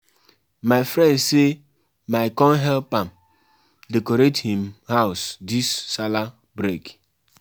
Na because sey tins don change na im make dem carry dis man wey commit dis kind taboo go court.